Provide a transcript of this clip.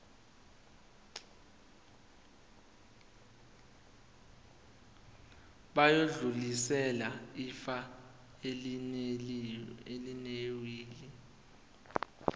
bayodlulisela ifa elinewili